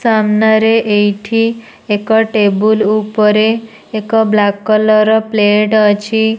ସାମ୍ନାରେ ଏଇଠି ଏକ ଟେବୁଲ୍ ଉପରେ ଏକ ବ୍ଲାକ୍ କଲର୍ ର ପ୍ଲେଟ ଅଛି।